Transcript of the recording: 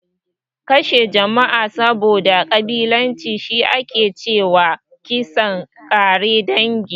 Kashe jama'a saboda ƙabilanci, shi ake ce wa kisan ƙare dangi.